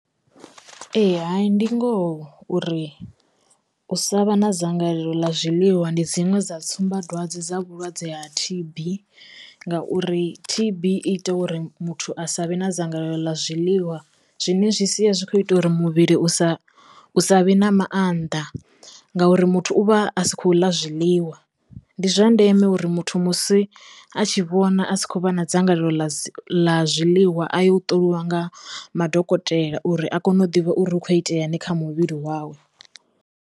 Ee hayi, ndi ngoho uri u sa vha na dzangalelo ḽa zwiḽiwa ndi dziṅwe dza tsumbadwadze dza vhulwadze ha T_B ngauri T_B i ita uri muthu a sa vhe na dzangalelo ḽa zwiḽiwa zwine zwi sia zwi kho ita uri muvhili u sa u sa vhe na maanḓa ngauri muthu u vha a sikho ḽa zwiḽiwa, ndi zwa ndeme uri muthu musi a tshi vhona a si khou vha na dzangalelo ḽa zwi ḽa zwiḽiwa a ya u ṱolwa nga madokotela uri a kone u ḓivha uri hu kho itea ni kha muvhili wawe.